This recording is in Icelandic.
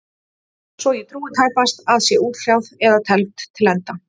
Sem ég trúi tæpast að sé útkljáð eða tefld til enda.